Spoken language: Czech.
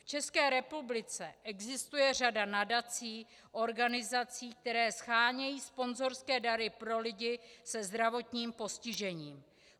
V České republice existuje řada nadací, organizací, které shánějí sponzorské dary pro lidi se zdravotním postižením.